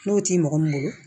N'o ti mɔgɔ min bolo